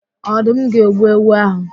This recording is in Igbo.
Ọdụm ga-egbu ewu áhụ̀.